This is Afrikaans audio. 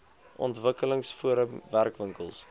ontwikkelings forum werkwinkels